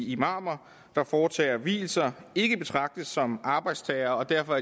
imamer der foretager vielser ikke betragtes som arbejdstagere og derfor